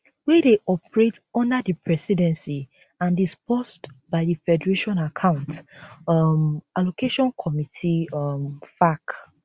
wey dey operate under di presidency and disbursed by di federation account um allocation committee um faac